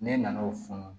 Ne nan'o fun